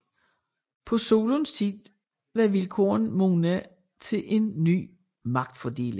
På Solons tid var vilkårene modne til en ny magtfordeling